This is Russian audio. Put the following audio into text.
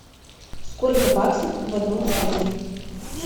сколько баксов в одном фунте